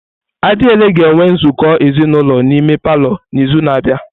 Adiele ga-enwe nzukọ ezinulo n'ime palọ n'izu na-abịa.